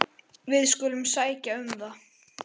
Við skulum sækja um það.